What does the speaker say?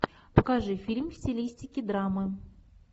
покажи фильм в стилистике драмы